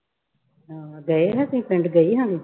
ਹਾਂ ਗਏ ਸੀ ਤੁਸੀਂ ਪਿੰਡ ਸੀ।